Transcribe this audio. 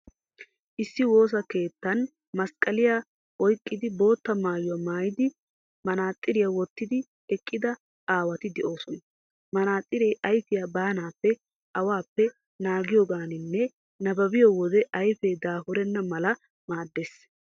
Issi woosa keettan masqqaliyaa oyqqidi, bootta maayuwaa maayidi, manaxiriyaa wottidi eqqida aawati de'oosona. Manaxiree ayfiyaa baanaappe, awaappe, naagiyoogaaninne nabbabiyoo wode ayfee daafurenna mala maaddees.